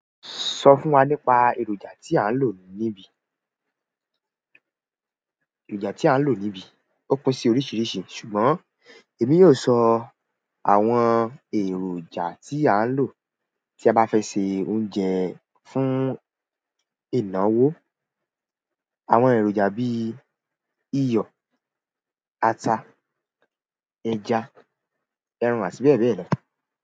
Sọ fún wa nípa èròjà tí à ń lò níbí. Èròjà tí à ń lò níbí ó pín sí oríṣiríṣi ṣùgbọ́n èmi yóò sọ àwọn èròjà tí à ń lò tí a bá fẹ́ se oúnjẹ fún ìnáwó. Àwọn èròjà bíi iyọ̀, ata, ẹja, ẹran àti bẹ́ẹ̀ bẹ́ẹ̀ lọ.